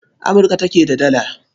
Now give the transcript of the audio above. Amurka take da Dala.